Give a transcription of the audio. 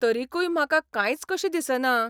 तरिकूय म्हाका कांयच कशें दिसना?